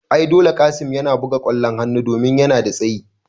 Ai dole Qassim yana buga kwallon hanu domin yana da tsayi